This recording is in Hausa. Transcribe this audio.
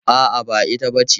A'a, ba ita bace.